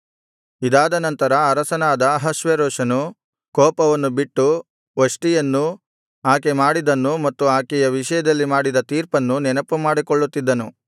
ಇದಾದನಂತರ ಅರಸನಾದ ಅಹಷ್ವೇರೋಷನು ಕೋಪವನ್ನು ಬಿಟ್ಟು ವಷ್ಟಿಯನ್ನೂ ಆಕೆ ಮಾಡಿದ್ದನ್ನೂ ಮತ್ತು ಆಕೆಯ ವಿಷಯದಲ್ಲಿ ಮಾಡಿದ ತೀರ್ಪನ್ನೂ ನೆನಪುಮಾಡಿಕೊಳ್ಳುತ್ತಿದ್ದನು